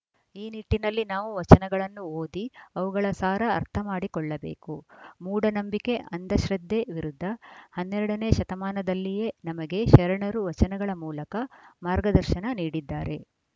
ಈ ನಿಟ್ಟಿನಲ್ಲಿ ನಾವು ವಚನಗಳನ್ನು ಓದಿ ಅವುಗಳ ಸಾರ ಅರ್ಥಮಾಡಿಕೊಳ್ಳಬೇಕು ಮೂಢನಂಬಿಕೆ ಅಂಧ ಶ್ರದ್ದೆ ವಿರುದ್ದ ಹನ್ನೆರಡ ನೇ ಶತಮಾನದಲ್ಲಿಯೇ ನಮಗೆ ಶರಣರು ವಚನಗಳ ಮೂಲಕ ಮಾರ್ಗದರ್ಶನ ನೀಡಿದ್ದಾರೆ